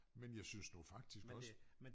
Men jeg synes nu faktisk også